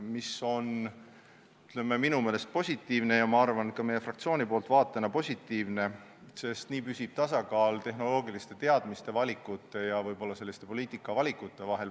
See on minu meelest positiivne ja ma arvan, et ka meie fraktsioonist vaadatuna positiivne, sest nii püsib tasakaal tehnoloogiliste teadmiste ja valikute ning poliitikavalikute vahel.